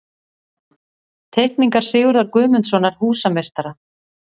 Teikningar Sigurðar Guðmundssonar, húsameistara.